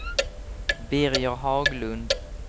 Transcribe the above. Birger Haglund